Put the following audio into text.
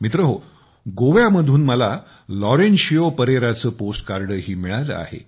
मित्रहो गोव्यामधून मला लॉरेन्शियो परेराचे पोस्टकार्ड ही मिळाले आहे